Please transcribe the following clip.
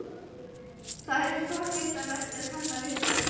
Það er forvitnilegt að kanna viðbrögðin.